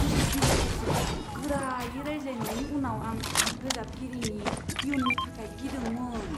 बिजिरगिरिफोरजों गोरायै रायज्लायनायनि उनाव आं रोजाबगिरिनि इयुननि थाखाय गिदोंमोन।